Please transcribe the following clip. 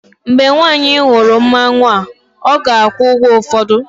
mgbe nwanyị hụrụ mmanwu a, ọ ga-akwụ ụgwọ ụfọdụ